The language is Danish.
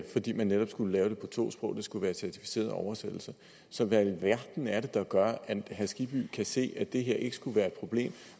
fordi man netop skulle lave det på to sprog og det skulle være certificerede oversættelser så hvad i alverden er det der gør at herre skibby kan se at det her ikke skulle være et problem i